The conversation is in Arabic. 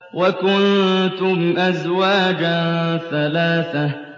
وَكُنتُمْ أَزْوَاجًا ثَلَاثَةً